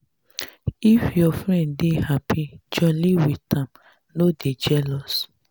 if your friend dey happy jolly with am no dey jealous.